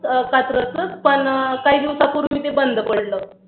अं कात्रज च पण काही दिवसापुर्वी ते बंद पडल